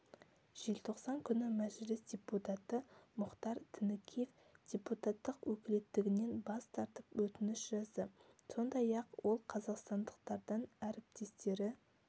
желтоқсан күні мәжіліс депутаты мұхтар тінікеев депутаттық өкілеттілігінен бас тартып өтініш жазды сондай-ақ ол қазақстандықтардан әріптестері